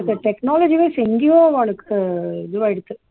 technology vice எங்கேயோ அவாளுக்கு இதுவாயிடுத்து